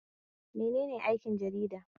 Menene aikin jarida?